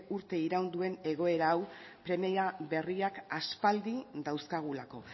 uste iraun duen egoera hau premia berriak aspaldi dauzkagulako